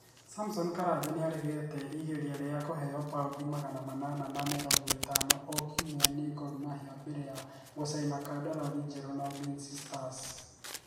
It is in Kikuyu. Samson Karanja nĩ aregete igeria rĩa kũheo paũndi magana manana ma mĩrongo ĩtano o kiumia nĩ Gormahia mbere ya gũcaina kandarathi njerũ na Ulinzi stars.